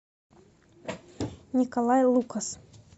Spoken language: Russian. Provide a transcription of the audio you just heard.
николай лукас